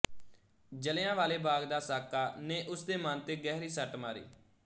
ਜਲ੍ਹਿਆ ਵਾਲੇ ਬਾਗ ਦਾ ਸਾਕਾ ਨੇ ਉਸ ਦੇ ਮਨ ਤੇ ਗਹਿਰੀ ਸੱਟ ਮਾਰੀ